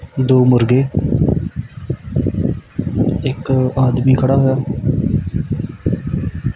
ਦੋ ਮੁਰਗੇ ਇੱਕ ਆਦਮੀ ਖੜਾ ਹੋਇਆ।